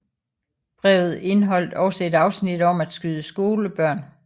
Brevet indeholdt også et afsnit om at skyde skolebørn